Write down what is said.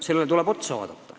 Seda tuleb arutada.